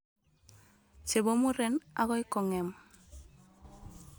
Chebo muren akoi kong'em.